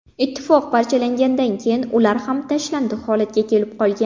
Ittifoq parchalangandan keyin ular ham tashlandiq holatga kelib qolgan.